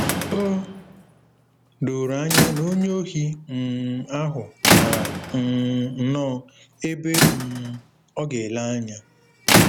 O doro anya na onye ohi um ahụ maara um nnọọ ebe um ọ ga-ele anya.